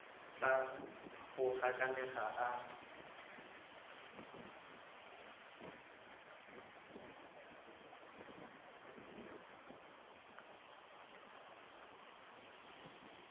tla a go gakanega a